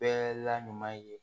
Bɛɛ la ɲuman ye